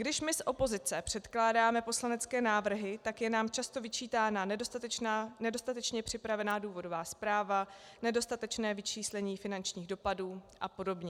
Když my z opozice předkládáme poslanecké návrhy, tak je nám často vyčítána nedostatečně připravená důvodová zpráva, nedostatečné vyčíslení finančních dopadů a podobně.